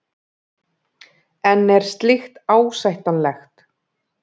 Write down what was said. En er slíkt ásættanlegt?